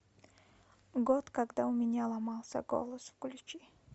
год когда у меня ломался голос включи